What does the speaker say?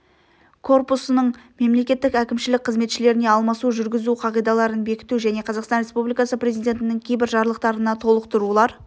корпусының мемлекеттік әкімшілік қызметшілеріне алмасу жүргізу қағидаларын бекіту және қазақстан республикасы президентінің кейбір жарлықтарына толықтырулар